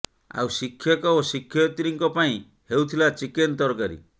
ଆଉ ଶିକ୍ଷକ ଓ ଶିକ୍ଷୟିତ୍ରୀଙ୍କ ପାଇଁ ହେଉଥିଲା ଚିକେନ ତରକାରୀ